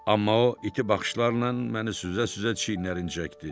Amma o iti baxışlarla məni süzə-süzə çiyinlərini çəkdi.